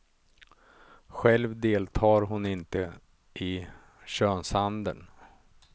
Själv deltar hon inte i könshandeln.